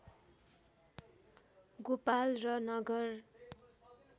गोपाल र नगर